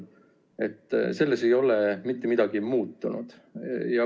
Selles ei ole mitte midagi muutunud.